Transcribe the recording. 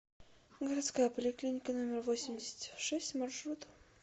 городская поликлиника номер восемьдесят шесть маршрут